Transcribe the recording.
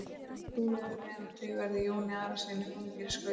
Ekki trúi ég öðru en að þið verðið Jóni Arasyni þungir í skauti.